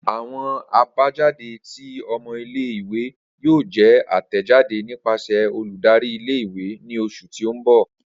Awọn abajade ti ọmọ ìle-ìwe yoo jẹ atẹjade nipasẹ oludari ìle-ìwe ni oṣu ti n bọ.